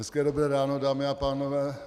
Hezké dobré ráno, dámy a pánové.